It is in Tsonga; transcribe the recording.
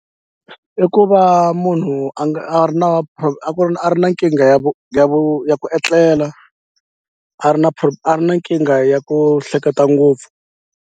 I ku va munhu a nga a ri na a ku ri a ri na nkingha ya vu ya vu ya ku etlela a ri na a ri na nkingha ya ku hleketa ngopfu.